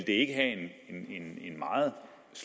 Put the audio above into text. ikke have en meget